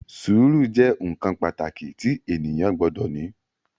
Sùúrù jẹ́ nǹkan pàtàkì tí ènìyàn gbọdọ̀ ní